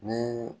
Ni